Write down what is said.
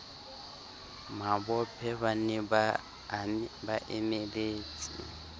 mabophe ba ne ba emeletse